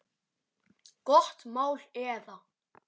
Gott mál eða?